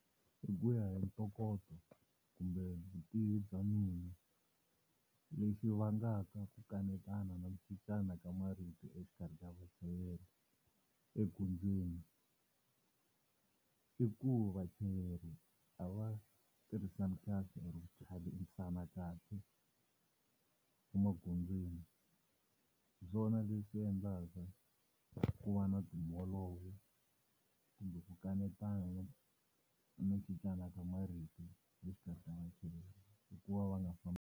Hi ku ya hi ntokoto kumbe vutivi bya mina, lexi vangaka ku kanetana na ku cincana ka marito exikarhi ka vachayeri egondzweni i ku vachayeri, a va tirhisani kahle kahle emagondzweni. Hi swona leswi swi endlaka ku va na timholovo kumbe ku kanetana ni ku cincana ka marito exikarhi ka vachayeri hi ku va va nga .